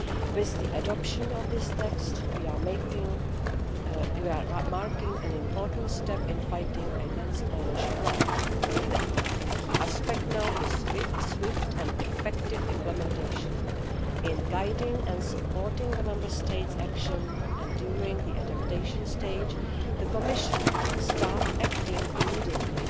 With the adoption of this text, we are marking an important step in fighting against financial crime. The key aspect now is swift and effective implementation in guiding and supporting the Member States' action, and during the adaptation stage the Commission will start acting immediately.